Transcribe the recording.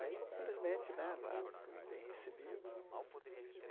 Aí, felizmente, né, lá fui bem recebido.